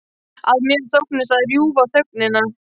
Að mér þóknist að rjúfa þögnina.